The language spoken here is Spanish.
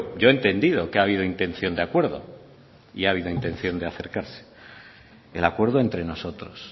yo he entendido que ha habido intención de acuerdo y ha habido intención de acercarse el acuerdo entre nosotros